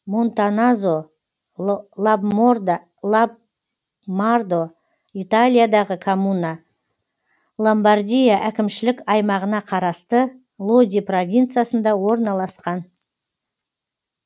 монтаназо лабмардо италиядағы коммуна ломбардия әкімшілік аймағына қарасты лоди провинциясында орналасқан